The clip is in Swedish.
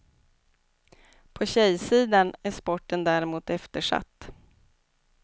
På tjejsidan är sporten däremot eftersatt.